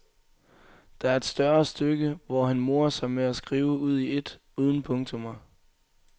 Der er et større stykke, hvor han morer sig med at skrive ud i et, uden punktummer.